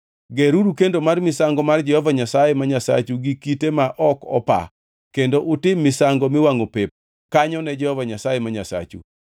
Geruru kendo mar misango mar Jehova Nyasaye ma Nyasachu gi kite ma ok opa, kendo utim misango miwangʼo pep kanyo ne Jehova Nyasaye ma Nyasachu.